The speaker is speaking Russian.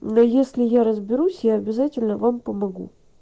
но если я разберусь я обязательно вам помогу